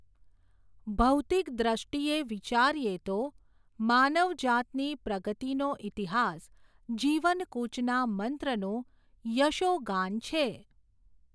ભૌતિક દષ્ટિએ, વિચારીએ તો, માનવજાતની, પ્રગતિનો ઈતિહાસ, જીવનકૂચના, મંત્રનું, યશોગાન છે.